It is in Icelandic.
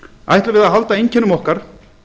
ætlum við að halda einkennum okkar